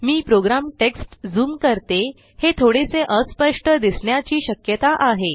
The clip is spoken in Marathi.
मी प्रोग्राम टेक्स्ट ज़ूम करते हे थोडेसे अस्पष्ट दिसण्याची श्यकता आहे